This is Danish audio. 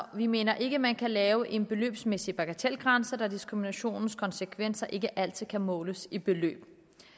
vi mener ikke man kan lave en beløbsmæssig bagatelgrænse da diskriminationens konsekvenser ikke altid kan måles i beløb